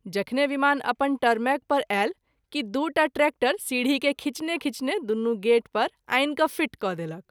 जखने विमान अपन टरमैक पर आयल कि दू टा ट्रैक्टर सीढी के खिंचने खिंचने दुनू गेट पर आनि फीट क’ देलक।